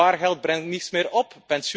Spaargeld brengt niets meer op.